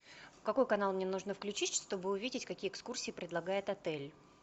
какой канал мне нужно включить чтобы увидеть какие экскурсии предлагает отель